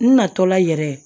N natɔla yɛrɛ